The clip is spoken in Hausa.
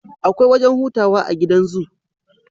Akwai wajan hutawa a gidan zoo